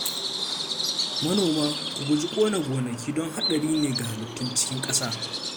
Manoma, ku guji ƙona gonaki don haɗari ne ga halittun cikin ƙasa